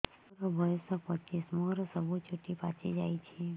ମୋର ବୟସ ପଚିଶି ମୋର ସବୁ ଚୁଟି ପାଚି ଯାଇଛି